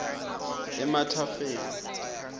emathafeng